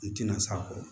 I tina s'a kɔ